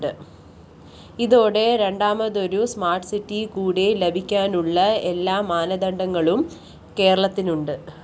ഇതോടെ രണ്ടാമതൊരു സ്മാര്‍ട്ട്‌സിറ്റി കൂടി ലഭിക്കാനുള്ള എല്ലാ മാനദണ്ഡങ്ങളും കേരളത്തിനുണ്ട്